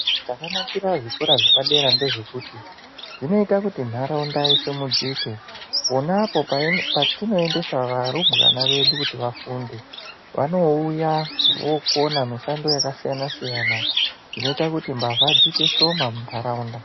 Chakanakira zvikora zvepadera ndezvekuti ,dzinoita kuti ntaraunda isimudzike, pona apo pai patinoendesa varumbwana vedu kuti vafunde, vanouya vokona mishando yakasiyana-siyana, inoita kuti mbavha dziite shoma muntaraunda.